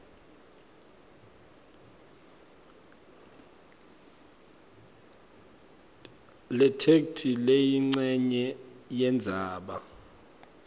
letheksthi leyincenye yendzaba